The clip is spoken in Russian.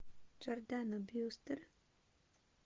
джордана брюстер